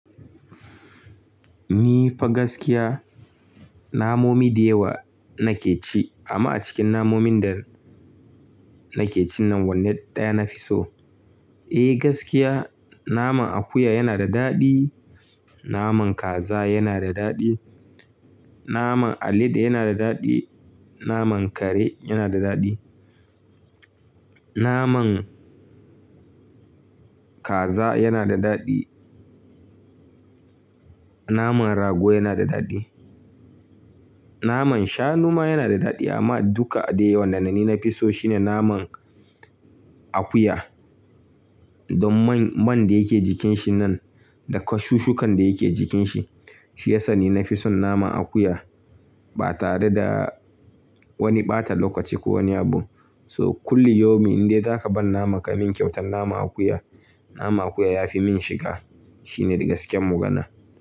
Ni fa gaskiya, namomi da yawa nake ci amma a cikin namomin da nake cin nan wannan ɗaya na fi so. Eh gaskiya naman akuya yana da daɗi, naman kaza yana da daɗi, naman alade yana da daɗi, naman kare yana da daɗi, naman kaza yana da daɗi, naman rago yana da daɗi, naman shanu ma yana da daɗi amma duka dai wanda na ni na fi so shine naman akuya. Don man, man da yake jikin shi nan da ka shushukan da yake jikin shi. Shi ya sa ni na fi son naman akuya ba tare da wani ɓata lokaci ko wani abu. So kullu yaumin indai zaka ban naman ka min kyautan naman akuya. Naman akuya ya fi min shiga. Shi ne gaskiyar magana.